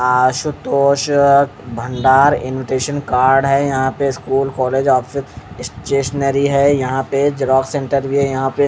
आसुतोष भंडार invitation card है यहाँ पे स्कूल कॉलेज ऑफिस एक स्टेशनरी है यहाँ पे झेरोक्स सेंटर है यहाँ पे--